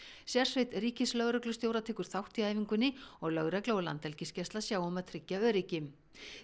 sérsveit ríkislögreglustjóra tekur þátt í æfingunni og lögregla og Landhelgisgæsla sjá um að tryggja öryggi